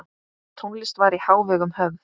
Tónlist var í hávegum höfð.